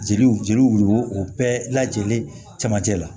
Jeliw jeliw o bɛɛ lajɛlen camancɛ la